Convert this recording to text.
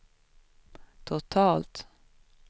totalt